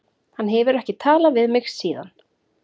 Hann hefur ekki talað við mig síðan.